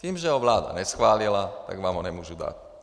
Tím, že ho vláda neschválila, tak vám ho nemůžu dát.